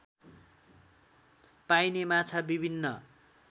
पाइने माछा विभिन्न